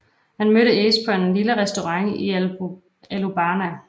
Han mødte Ace på en lille restaurant i Alubarna